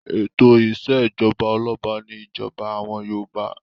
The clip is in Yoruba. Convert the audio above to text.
Ètò ìṣèjọba ọlọ́ba ni ìjọba àwọn Yorùbá.